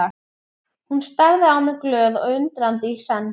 Hún starði á mig glöð og undrandi í senn.